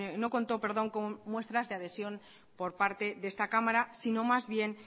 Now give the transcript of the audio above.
no contó con muestras de adhesión por parte de esta cámara sino más bien